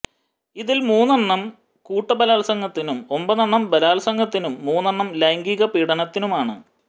ഇതിൽ മൂന്നെണ്ണം കൂട്ട ബലാൽസംഗത്തിനും ഒമ്പതെണ്ണം ബലാൽസംഗത്തിനും മൂന്നെണ്ണം ലൈംഗിക പീഡനത്തിനുമാണ്